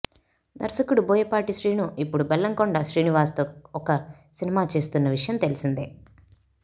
దర్శకుడు బోయపాటి శ్రీను ఇప్పుడు బెల్లంకొండ శ్రీనివాస్తో ఒక సినిమా చేస్తున్న విషయం తెలిసిందే